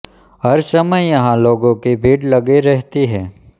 हर समय यहाँ लोगों की भीड़ लगी रहती है